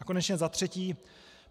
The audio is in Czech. A konečně za třetí.